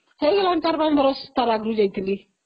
ହେଇଗଲାଣି ଚାରି ପାଞ୍ଚ ବର୍ଷ , ଟା ଆଗରୁ ଯାଇଥଲି